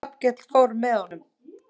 Hallkell fór með honum.